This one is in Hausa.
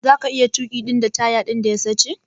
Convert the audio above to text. Zaka iya tuki da taya din da ya sache?